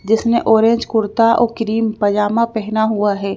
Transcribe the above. जिसने ऑरेंज कुर्ता और क्रीम पजामा पहना हुआ है।